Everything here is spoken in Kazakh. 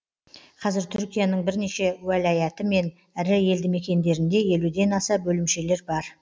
қазір түркияның бірнеше уәлаяты мен ірі елді мекендерінде елуден аса бөлімшелер бар